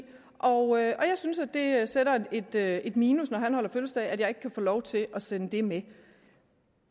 og jeg synes det er et minus når han holder fødselsdag at jeg ikke kan få lov til at sende dem med